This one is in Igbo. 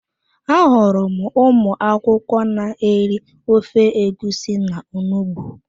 Ahụrụ m ụmụ akwụkwọ n'eri ofe egusi na onugbu